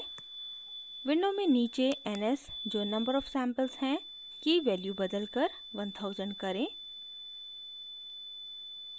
window में नीचे ns जो number of samples है की value बदलकर 1000 करें